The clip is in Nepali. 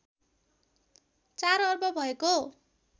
४ अर्ब भएको